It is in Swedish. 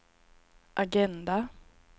agenda